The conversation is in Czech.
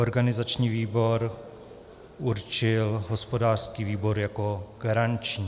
Organizační výbor určil hospodářský výbor jako garanční.